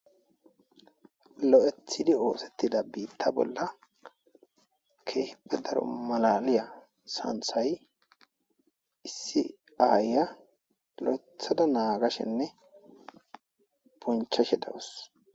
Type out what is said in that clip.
lo7ethidi oosettida biitta bolla kehippe daro malaliya santhay issi aaya lo7ethada naagashenne bunchashe dawus